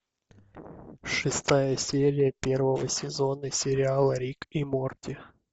шестая серия первого сезона сериала рик и морти